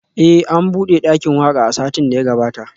Eh an bude dakin waka a satin da ya gabata